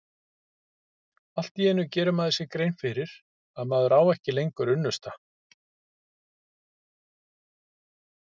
Allt í einu gerir maður sér grein fyrir að maður á ekki lengur unnusta.